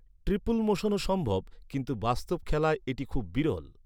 Triple মোশনও সম্ভব, কিন্তু বাস্তব খেলায় এটি খুব বিরল।